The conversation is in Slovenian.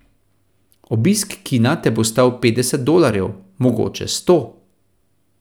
Obisk kina te bo stal petdeset dolarjev, mogoče sto.